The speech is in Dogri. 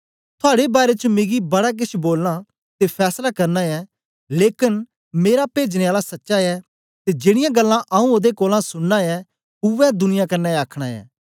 थुआड़े बारै च मिगी बडा केछ बोलना ते फैसला करना ऐ लेकन मेरा पेजने आला सच्चा ऐ ते जेड़ीयां गल्लां आऊँ ओदे कोलां सुनना ऐ उवै दुनिया कन्ने आखना ऐं